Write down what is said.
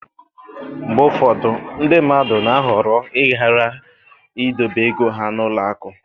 mgbe ụfọdụ ndị mmadụ na-ahọrọ ịghara idobe ego ha n'ụlọ akụ